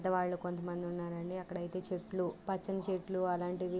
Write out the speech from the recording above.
పెద్దవాళ్ళు కొంతమంది ఉన్నారండి అక్కడ అయితే చెట్లు పచ్చని చెట్లు అలాంటివి --